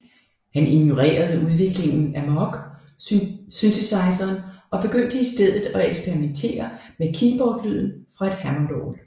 Han ignorerede udviklingen af Moog synthesizeren og begyndte i stedet at eksperimentere med keyboardlyden fra et hammondorgel